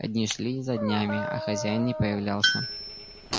а дни шли за днями а хозяин не появлялся